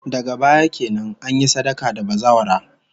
Daga baya kenan, an yi sadaka da bazawara